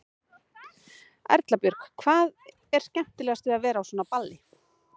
Erla Björg: Hvað er skemmtilegast við að vera á svona balli?